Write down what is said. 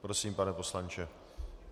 Prosím, pane poslanče.